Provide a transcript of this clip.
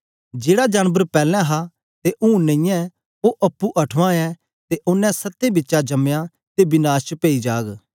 जेड़ा जानबर पैलैं हा ते हूंन नेईयै ओ अप्पुं अठवां ऐ ते ओनें सत्तें बिचा जमया ते विनाश च पेई जाग